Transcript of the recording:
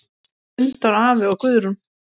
Gunndór afi og Guðrún.